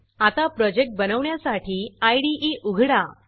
आता प्रोजेक्ट बनवण्यासाठी इदे उघडा